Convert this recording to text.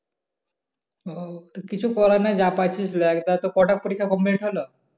ও কিছু করাই নাই? যা পাইছিস তো কটা পরিক্ষা complete হল?